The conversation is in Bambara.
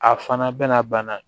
A fana bɛna bana